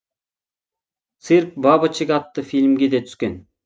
цирк бабочек атты фильмге де түскен